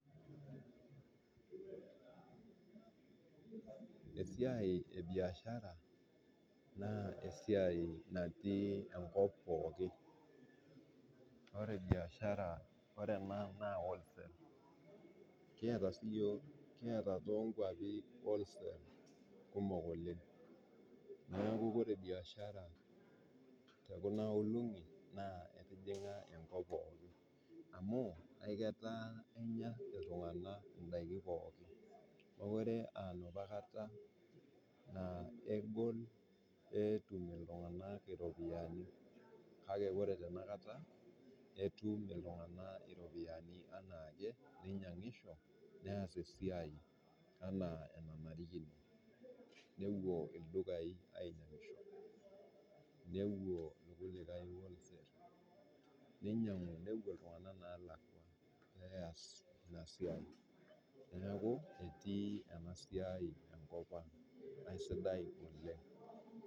Esiai biashara naa esiai natii enkop pooki, ore biashara ore ena naa wholesale kieta sii yook, kieat too nkwapi wholesale kumok oleng, naaku kore biashara te kuna olong'i naa etijing'a enkop pooki, amu eketaa kenya ltungana indaki pooki. Mokore aa enapa kata naa egol peetum ltunganak iropiyiani, kake ore tenakata, etum ltungana iropiyiani anaake, neinyangisho neas esiai anaa enanarikino, nepuo oldukai ainyang'isho, nepuo ilkulikai wholesale neinyag'u nepo ltungana neelakwa neyas esiai, naaku etii ena siai nkopang naa sidai oleng.